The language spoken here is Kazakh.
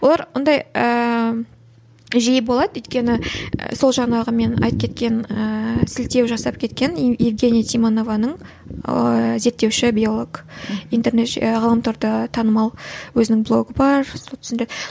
олар ондай ііі жиі болады өйткені сол жаңағы мен айтып кеткен ііі сілтеу жасап кеткен евгения тимонованың ыыы зертеуші биолог интернет ғаламторда танымал өзінің блогы бар